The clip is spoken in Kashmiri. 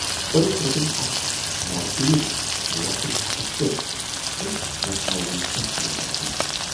پٔرِتھ روٹُن اَکھ مورٕتیٖرٕ لژھُل اتھس کٮ۪تھ تہٕ نژٕنووُن ژۅشوٕنی طرفن۔